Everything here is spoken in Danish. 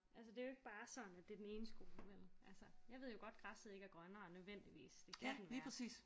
Altså det er jo ikke bare sådan at det er den ene skole vel altså. Jeg ved jo godt græsset ikke er grønnere nødvendigvis det kan den være